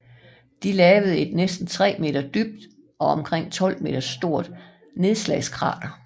Det lavede et næsten tre meter dybt og omkring 12 meter stort nedslagskrater